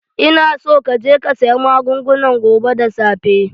Ina so ka je ka saya magungunan gobe da safe!